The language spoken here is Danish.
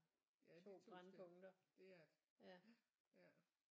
Ja de 2 steder det er det ja ja